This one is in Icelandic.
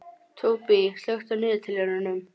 Tóbý, slökktu á niðurteljaranum.